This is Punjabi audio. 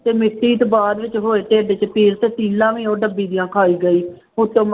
ਤੇ ਮਿੱਟੀ ਤੇ ਬਾਅਦ ਵਿੱਚ ਹੋਏ ਢਿੱਡ ਚ ਪੀੜ ਤੇ ਤਿੱਲਾਂ ਵੀ ਉਹ ਡੱਬੀ ਦੀਆਂ ਖਾਈ ਗਈ ਉੱਤੋਂ